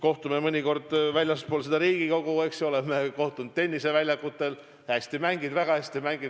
Kohtume mõnikord ka väljaspool Riigikogu, oleme kohtunud tenniseväljakul – hästi mängid, väga hästi mängid!